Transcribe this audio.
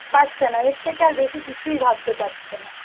পারছে না এর থেকে বেশি আর কিছুই ভাবতে পারছে না